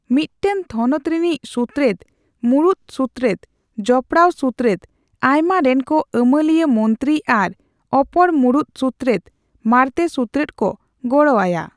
ᱢᱤᱫᱴᱟᱝ ᱛᱷᱚᱱᱚᱛ ᱨᱤᱱᱤᱡ ᱥᱩᱛᱨᱮᱫ, ᱢᱩᱬᱩᱫ ᱥᱩᱛᱨᱮᱫ, ᱡᱚᱯᱲᱟᱣ ᱥᱩᱛᱨᱮᱫ ᱟᱭᱢᱟ ᱨᱮᱱᱠ ᱟᱹᱢᱟᱹᱞᱤᱭᱟᱹ ᱢᱚᱱᱛᱨᱤ ᱟᱨ ᱚᱯᱚᱨ ᱢᱩᱬᱩᱛ ᱥᱩᱛᱨᱮᱫ/ᱢᱟᱬᱛᱮ ᱥᱩᱛᱨᱮᱫ ᱠᱚ ᱜᱚᱲᱚ ᱟᱭᱟ᱾